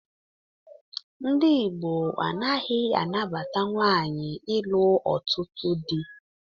Ndị Igbo anaghị anabata nwaanyị ịlụ ọtụtụ dị